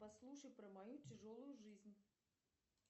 послушай про мою тяжелую жизнь